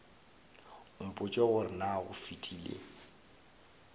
mpotše gore na go fetile